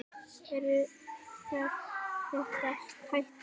Eru störf þeirra í hættu?